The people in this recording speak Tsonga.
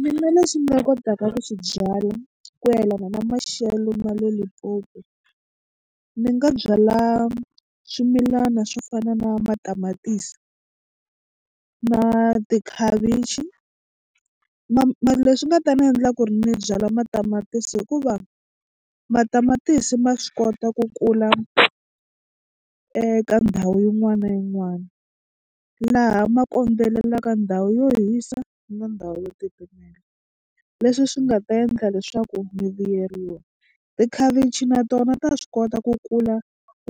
Mina leswi ni nga kotaka ku swi byala ku yelana na maxelo ma le Limpopo ni nga byala swimilana swo fana na matamatisi na tikhavichi mara leswi nga ta ni endla ku ri ni byala matamatisi i ku va matamatisi ma swi kota ku kula eka ndhawu yin'wana na yin'wana laha ma kondzelelaka ndhawu yo hisa na ndhawu yo titimela leswi swi nga ta endla leswaku mi vuyeriwa. Tikhavichi na tona ta swi kota ku kula